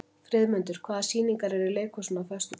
Friðmundur, hvaða sýningar eru í leikhúsinu á föstudaginn?